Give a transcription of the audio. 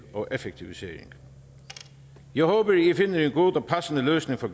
og effektivisering jeg håber i finder en god og passende løsning for